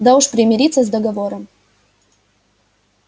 да уж примириться с договором